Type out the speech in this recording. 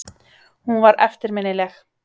Hún var eftirminnileg.